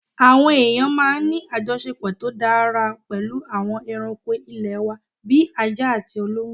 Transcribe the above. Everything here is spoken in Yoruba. Àwa èèyàn máa ń ní àjọṣepọ̀ tó dára pẹ̀lú àwọn ẹranko ilé wa bí ajá àti olóńgbò